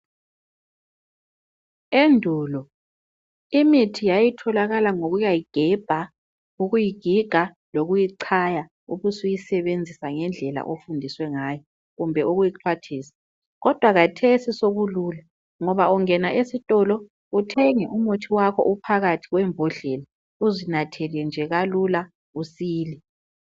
Endulo imithi yayitholakala ngokuyayigebha, ukuyigiga lokuyichaya ubusuyisebenzisa ngendlela ofundiswe ngayo kumbe ukuyixhwathisa kodwa kathesi sokulula ngoba ungena esitolo uthenge umuthi wakho uphakathi kwembodlela uzinathele nje kalula usile